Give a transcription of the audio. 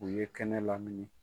U ye kɛnɛ lamini.